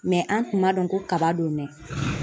an tun b'a dɔn ko kaba don dɛ.